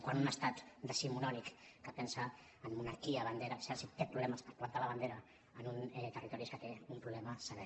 quan un estat decimonònic que pensa en monarquia bandera exèrcit té problemes per plantar la bandera en un territori és que un problema sever